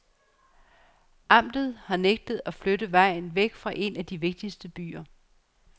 Amtet har nægtet at flytte vejen væk fra en af de vigtigste byer.